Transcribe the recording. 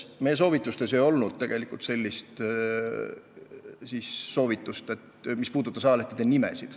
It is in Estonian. Me ei andnud tegelikult sellist soovitust, mis puudutas ajalehtede nimesid.